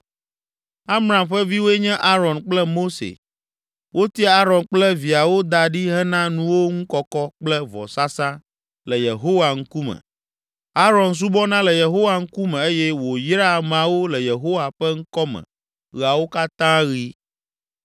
Amram ƒe viwoe nye Aron kple Mose. Wotia Aron kple viawo da ɖi hena nuwo ŋu kɔkɔ kple vɔsasa le Yehowa ŋkume. Aron subɔna le Yehowa ŋkume eye wòyraa ameawo le Yehowa ƒe ŋkɔ me ɣeawo katã ɣi.